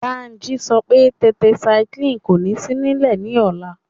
Bánjí sọ pé tẹtaisaiklínì kò ní sí nílẹ̀ ní ọ̀la